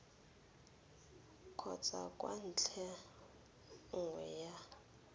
kgotsa kwa ntlheng nngwe ya